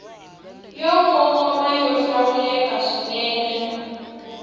yo kongoma yo hlawuleka swinene